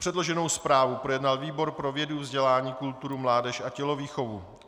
Předloženou zprávu projednal výbor pro vědu, vzdělání, kulturu, mládež a tělovýchovu.